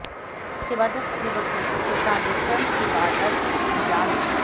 इसके बाद उक्त युवक ने उसके साथ दुष्कर्म की वारदात को अंजाम दिया